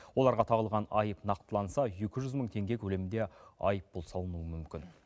оларға тағылған айып нақтыланса екі жүз мың теңге көлемінде айыппұл салынуы мүмкін